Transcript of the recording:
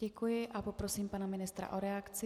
Děkuji a poprosím pana ministra o reakci.